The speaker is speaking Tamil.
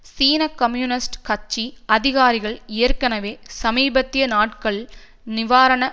சீன கம்யூனிஸ்ட் கட்சி அதிகாரிகள் ஏற்கனவே சமீபத்திய நாட்கள் நிவாரண